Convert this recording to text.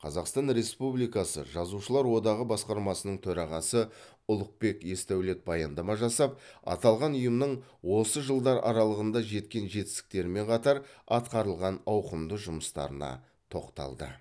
қазақстан республикасы жазушылар одағы басқармасының төрағасы ұлықбек есдәулет баяндама жасап аталған ұйымның осы жылдар аралығында жеткен жетістіктерімен қатар атқарылған ауқымды жұмыстарына тоқталды